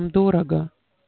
дорого